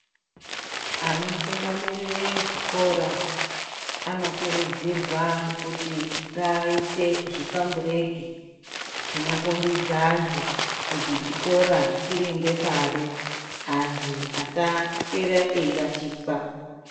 Anotungamirire zvikora anokurudzirwa kuti ngaaise zvipambureki zvinokhombidza antu kuti chikora chiri ngepari. Antu asaswera eirashikwa